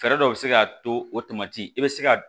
Fɛɛrɛ dɔ bɛ se ka to o tamati i bɛ se ka